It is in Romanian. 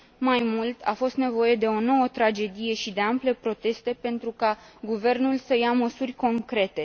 Mai mult, a fost nevoie de o nouă tragedie și de ample proteste pentru ca guvernul să ia măsuri concrete.